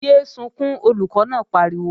Yé é sunkún, Olùkọ́ náà pariwo!